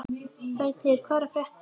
Danheiður, hvað er að frétta?